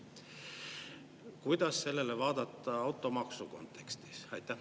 Kuidas sellele vaadata automaksu kontekstis?